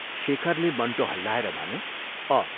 शेखरले मण्टो हल्लाएर भन्यो, " अ "।